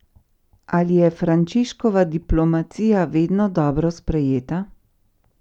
Ali je Frančiškova diplomacija vedno dobro sprejeta?